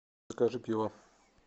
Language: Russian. закажи пиво